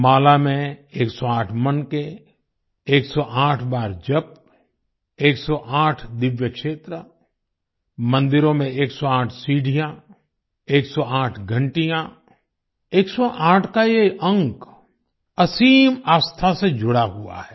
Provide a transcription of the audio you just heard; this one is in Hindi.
माला में 108 मनके 108 बार जप 108 दिव्य क्षेत्र मंदिरों में 108 सीढ़ियाँ 108 घंटियाँ 108 का ये अंक असीम आस्था से जुड़ा हुआ है